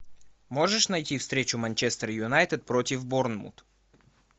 можешь найти встречу манчестер юнайтед против борнмут